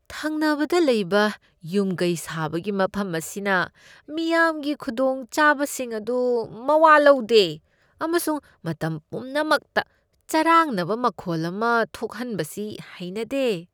ꯊꯪꯅꯕꯗ ꯂꯩꯕ ꯌꯨꯝ ꯀꯩ ꯁꯥꯕꯒꯤ ꯃꯐꯝ ꯑꯁꯤꯅ ꯃꯤꯌꯥꯝꯒꯤ ꯈꯨꯗꯣꯡꯆꯥꯕꯁꯤꯡ ꯑꯗꯨ ꯃꯋꯥ ꯂꯧꯗꯦ ꯑꯃꯁꯨꯡ ꯃꯇꯝ ꯄꯨꯝꯅꯃꯛꯇ ꯆꯔꯥꯡꯅꯕ ꯃꯈꯣꯜ ꯑꯃ ꯊꯣꯛꯍꯟꯕꯁꯤ ꯍꯩꯅꯗꯦ꯫